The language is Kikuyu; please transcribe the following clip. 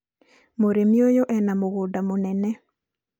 mũrĩmi ũyũ ena mũgũnda mũnene